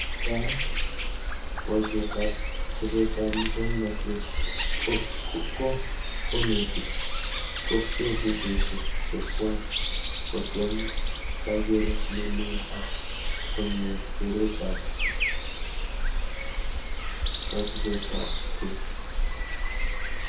Kipkaa, boishetab chobetab muswonotet ko konetik kobchee videoishek chekwai kotem kakeret nelel ak konyor keretab kasubetabke